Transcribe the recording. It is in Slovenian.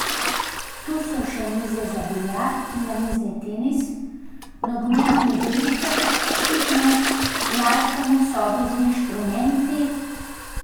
Tu so še mize za biljard in namizni tenis, nogometno igrišče, fitnes, glasbene sobe z inštrumenti ...